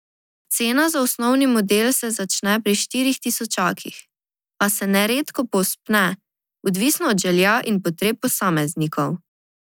Cena za osnovni model se začne pri štirih tisočakih, a se neredko povzpne, odvisno od želja in potreb posameznikov.